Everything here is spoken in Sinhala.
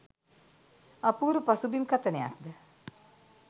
අපූරු පසුබිම් කථනයක් ද